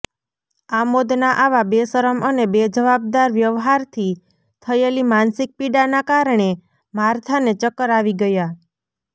આમોદના આવા બેશરમ અને બેજવાબદાર વ્યવહારથી થયેલી માનસિક પીડાના કારણે માર્થાને ચક્કર આવી ગયા